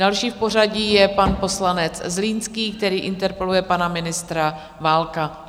Další v pořadí je pan poslanec Zlínský, který interpeluje pana ministra Válka.